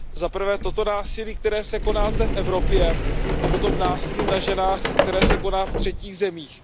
Zaprvé, toto násilí, které se koná zde v Evropě, a potom násilí na ženách, které se koná ve třetích zemích.